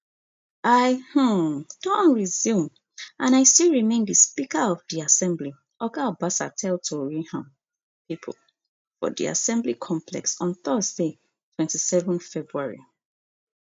i um don resume and i still remain di speaker of di assembly oga obasa tell tori um pipo for di assembly complex on thursday twenty-seven february